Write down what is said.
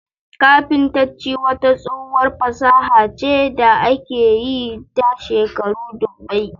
Kafintacci wata tsohuwar fasaha ce da aka yi ta shekaru dubbai